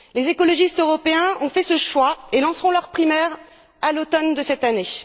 Les écologistes européens ont fait ce choix et lanceront leurs primaires à l'automne de cette année.